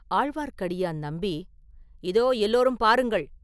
ஆழ்வார்க்கடியான் நம்பி, “இதோ எல்லோரும் பாருங்கள்!